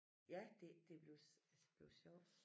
Ja det det bliver altså det bliver sjovt